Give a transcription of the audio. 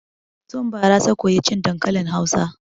Tun bara ta koyi cin dankalin Hausa.